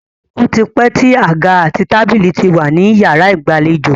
Ó ti pẹ́ tí àga àti tábílì ti wà ní yàrá ìgbàlejò.